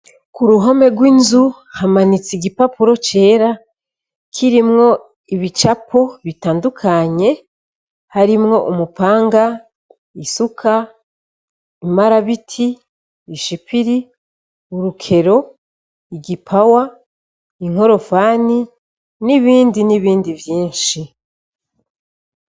Ku ruhome rw'inzu hamanitse igipapuro cera kirimwo ibicapo bitandukanye harimwo umupanga isuka imarabiti ishipiri urukero igipawa inkorofani n'ibindi ni bindi vyinshi.